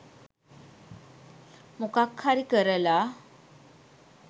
මොකක් හරි කරලා